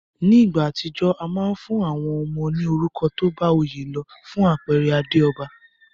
Ní ìgbà àtijó, a ma n fún àwon ọmọ ní orúkọ tóbá oyé lo. Fún àpere Adéòba